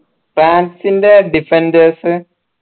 ഫ്രാൻസിന്റെ defenders